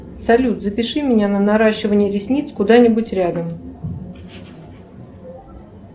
салют запиши меня на наращивание ресниц куда нибудь рядом